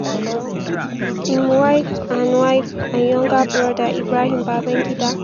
im wife and wife and younger brother ibrahim babangida.